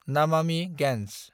Namami Gange